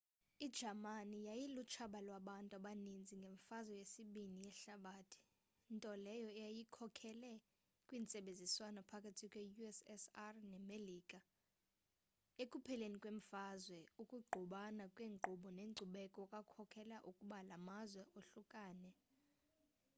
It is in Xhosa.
ijamani yayilutshaba lwabantu abaninzi ngemfazwe yesibini yehlabathi nto leyo eyakhokelela kwintsebenziswano phakathi kwe-ussr nemelika ekupheleni kwemfazwe ukungqubana kwenkqubo nenkcubeko kwakhokelela ukuba la mazwe ohlukane